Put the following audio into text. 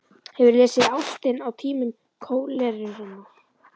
Hefurðu lesið Ástin á tímum kólerunnar?